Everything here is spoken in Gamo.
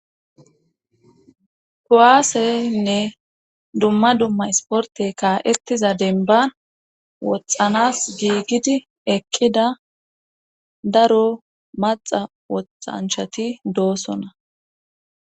Kowaaseynne dumma dumma isporte kaa7ettiza denban woxxanas giigidi ekkida daro maxa woxanchati doosona.